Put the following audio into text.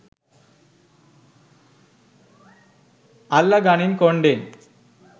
අල්ල ගනින් කොන්ඩෙ